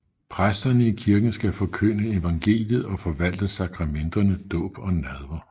Præsterne i kirken skal forkynde evangeliet og forvalte sakramenterne dåb og nadver